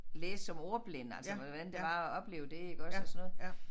Læse som ordblinde altså med hvordan det var at opleve det iggås og sådan noget